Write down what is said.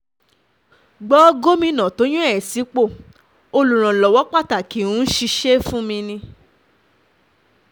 gbọ́ gómìnà tó yàn ẹ́ sípò olùrànlọ́wọ́ pàtàkì ń ṣiṣẹ́ fun mí ni